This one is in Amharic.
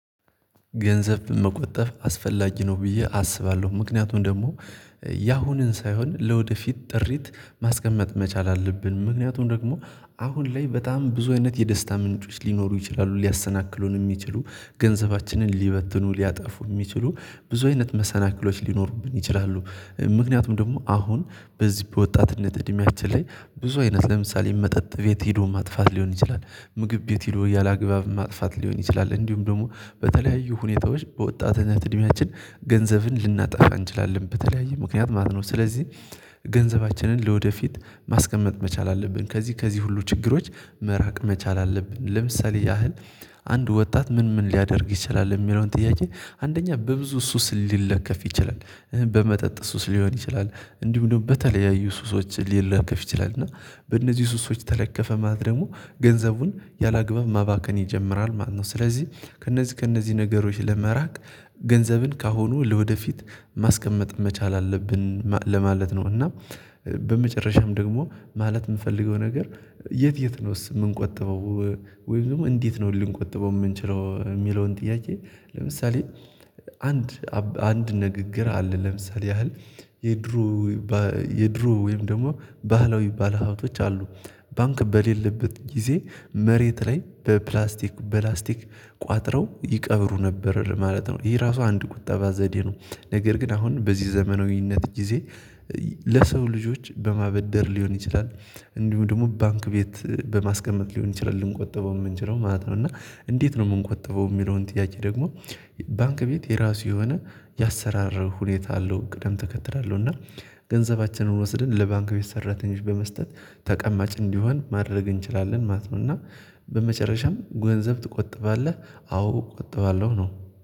ገንዘብ መቆጠብ አስፈላጊ ነው ብዬ አስባለሁ። ምክንያቱም ደግሞ ያሁኑን ሳይሆን ለወደፊት ጥሪት ማስቀመጥ መቻል አለብን። ምክንያቱም ደግሞ አሁን ላይ በጣም ብዙ አይነት የደስታ ምንጮች ሊኖሩ ይችላሉ ሊያሰናክሉን የሚችሉ ገንዘባችንን ሊበትኑ ሊያጠፉ የሚችሉ ብዙ አይነት መሰናክሎች ሊኖሩብን ይችላሉ። ምክንያቱም ደግሞ አሁን በዚህ በወጣትነት እድሜያችን ላይ ብዙ አይነት ለምሳሌ መጠጥ ቤት ሄዶ ማጥፋት ሊሆን ይችላል፤ ምግብ ቤት ሄዶ ያላግባብ ማጥፋት ሊሆን ይችላል፤ እንዲሁም ደግሞ በተለያዩ ሁኔታዎች በወጣትነት እድሜያችን ገንዘብን ልናጠፋ እንችላለን በተለያየ ምክንያት ማለት ነው። ስለዚህ ገንዘባችንን ለወደፊት ማስቀመጥ መቻል አለብን። ከዚህ ከዚህ ሁሉ ችግሮች መራቅ መቻል አለብን። ለምሳሌ ያህል አንድ ወጣት ምን ምን ሊያደርግ ይችላል የሚለውን ጥያቄ አንደኛ በብዙ ሱስ ሊለከፍ ይችላል። በመጠጥ ሱስ ሊሆን ይችላል እንዲሁም ደግሞ በተለያዩ ሱሶች ሊለከፍ ይችላል። እና በእነዚህ ሱሶች ተለከፈ ማለት ደግሞ ገንዘቡን ያላግባብ ማባከን ይጀምራል ማለት ነው። ስለዚህ ከእነዚህ ከእነዚህ ነገሮች ለመራቅ ገንዘብን ካሁኑ ለወደፊት ማስቀመጥ መቻል አለብን ለማለት ነው። እና በመጨረሻም ደግሞ ማለት የምፈልገው ነገር የት የት ነውስ የምንቆጥበው? ወይም ደግሞ እንዴት ነው ልንቆጥበው የምንችለው? የሚለውን ጥያቄ ለምሳሌ አንድ ንግግር አለ ለምሳሌ ያህል የድሮ የድሮ ወይም ደግሞ ባህላዊ ባለሀብቶች አሉ ባንክ በሌለበት ጊዜ መሬት ላይ በፕላስቲክ በላስቲክ ቋጥረው ይቀብሩ ነበር ማለት ነው። ይሄ ራሱ አንድ ቁጠባ ዘዴ ነው። ነገር ግን አሁን በዚህ ዘመናዊነት ጊዜ ለሰው ልጆች በማበደር ሊሆን ይችላል እንዲሁ ደግሞ ባንክ ቤት በማስቀመጥ ሊሆን ይችላል ልንቆጥበው የምንችለው ማለት ነው። እና እንዴት ነው የምንቆጠበው? የሚለውን ጥያቄ ደግሞ ባንክ ቤት የራሱ የሆነ ያሰራር ሁኔታ አለው፤ ቅደም ተከተል አለው። እና ገንዘባችንን ወስደን ለባንክ ቤት ሰራተኞች በመስጠት ተቀማጭ እንዲሆን ማድረግ እንችላለን ማለት ነው። እና በመጨረሻም ገንዘብ ትቆጥባለህ? አዎ እቆጥባለሁ ነው።